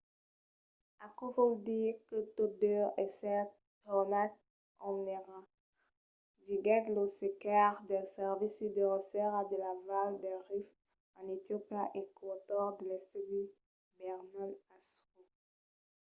aquò vòl dire que tot deu èsser tornat ont èra, diguèt lo cercaire del servici de recerca de la val del rift en etiopia e coautor de l'estudi berhane asfaw